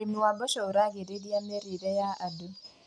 ũrĩmi wa mboco ũragĩria mĩrĩire ya andũ.